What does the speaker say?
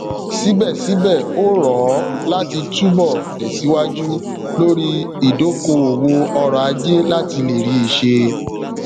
sibẹsibẹ o rọọ láti túbọ tẹsíwájú lórí ìdókoòwò ọrọ ajé láti le rí i se